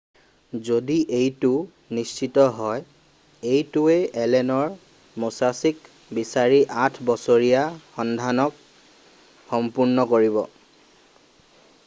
যদি এইটো নিশ্চিত হয় এইটোৱে এলেনৰ মোচাচিক বিচাৰি আঠ বছৰীয়া সন্ধানক সম্পূৰ্ণ কৰিব